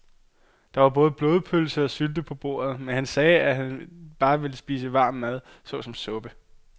Der var både blodpølse og sylte på bordet, men han sagde, at han bare ville spise varm mad såsom suppe.